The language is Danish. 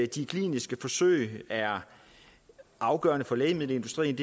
de kliniske forsøg er afgørende for lægemiddelindustrien